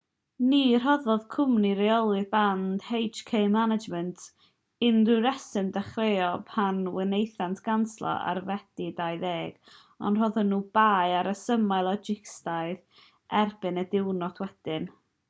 ni roddodd cwmni rheoli'r band hk management inc. unrhyw reswm dechreuol pan wnaethant ganslo ar fedi 20 ond rhoddon nhw'r bai ar resymau logistaidd erbyn y diwrnod wedyn